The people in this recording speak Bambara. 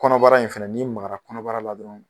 Kɔnɔbara in fɛnɛ n'i magara kɔnɔbara la dɔrɔn